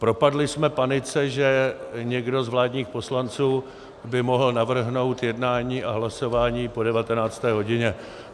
Propadli jsme panice, že někdo z vládních poslanců by mohl navrhnout jednání a hlasování po 19. hodině.